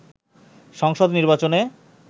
সংসদ নির্বাচনে